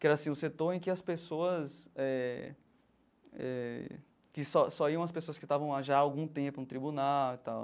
Que era, assim, o setor em que as pessoas eh eh... Que só só iam as pessoas que estavam lá já há algum tempo no tribunal e tal.